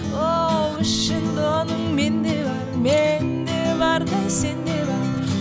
оу ішінде оның мен де бар мен де бар да сенде бар